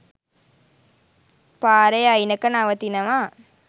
පාරෙ අයිනක නවතිනවා